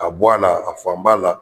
Ka bɔ a la, a fan ba la.